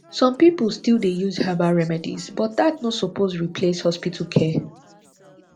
some pipo still dey use herbal remedies but dat no suppose replace hospital care